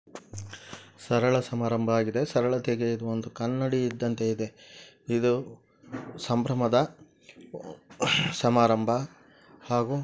ಸರಳ ಸಮಾರಂಭವಾಗಿದೆ ಸರಳತೆಗೆ ಒಂದು ಕನ್ನಡಿ ಇದ್ದಂತೆ ಇದೆ ಇದು ಸಂಭ್ರಮದ ಸಮಾರಂಭ ಹಾಗು--